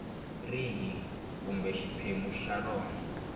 rihi kumbe xiphemu xa rona